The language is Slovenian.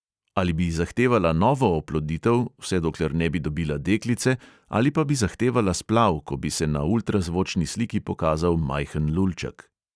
Ali bi zahtevala novo oploditev, vse dokler ne bi dobila deklice, ali pa bi zahtevala splav, ko bi se na ultrazvočni sliki pokazal majhen lulček.